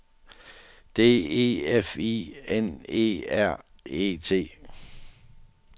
D E F I N E R E T